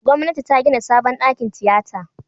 Gwamnati ta gida sabon dakin tiyata.